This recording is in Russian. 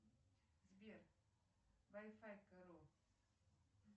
сбер вай фай каро